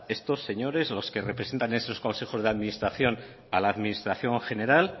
estos señores los que representan a esos consejos de la administración a la administración general